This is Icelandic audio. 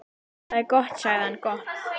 Það er gott sagði hann, gott